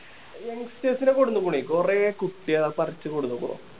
youngsters ൻ്റെ കൂട്ടത്തിന്ന് കൂടിയേ കൊറേ കുട്ട്യോളെ പറിച്ച് കൊണ്ട് വന്നിക്കുണു